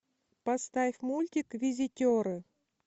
поставь мультик визитеры